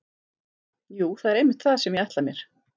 Jú, það er einmitt það sem ég ætla mér.